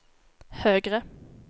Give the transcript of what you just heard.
högre